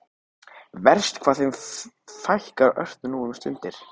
Verst hvað þeim fækkar ört nú um stundir.